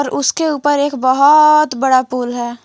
उसके ऊपर एक बहोत बड़ा पुल है।